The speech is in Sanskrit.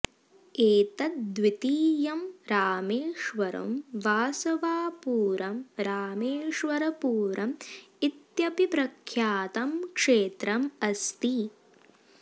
एतत् द्वितीयम् रामेश्वरं वासवापुरं रामेश्वरपुरम् इत्यपि प्रख्यातं क्षेत्रम् अस्ति